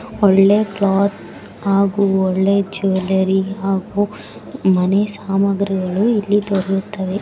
ಒಳ್ಳೆ ಕ್ಲಾತ್ ಹಾಗು ಒಳ್ಳೆ ಜುವೆಲರಿ ಹಾಗು ಮನೆ ಸಾಮಗ್ರಿಗಳು ಇಲ್ಲಿ ದೊರೆಯುತ್ತವೆ.